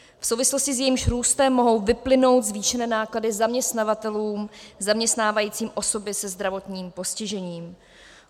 V souvislosti s jejím růstem mohou vyplynout zvýšené náklady zaměstnavatelům zaměstnávajícím osoby se zdravotním postižením.